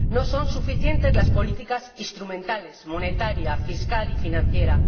No son suficientes las políticas instrumentales ―monetaria, fiscal y financiera―